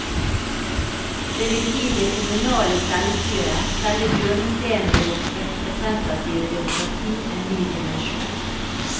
Det vil gi det kommunale selvstyret, selve hjørnestenen i vårt representative demokrati, en ny dimensjon.